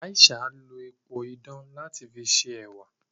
Aisha n lo epo idán lati fi ṣe ẹwà.